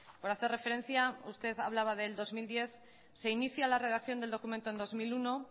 por hacer referencia usted hablaba del dos mil diez se inicia la redacción del documento en el dos mil uno